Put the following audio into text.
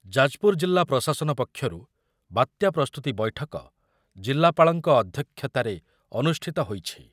ଯାଜପୁର ଜିଲ୍ଲା ପ୍ରଶାସନ ପକ୍ଷରୁ ବାତ୍ୟା ପ୍ରସ୍ତୁତି ବୈଠକ ଜିଲ୍ଲାପାଳଙ୍କ ଅଧ୍ୟକ୍ଷତାରେ ଅନୁଷ୍ଠିତ ହୋଇଛି ।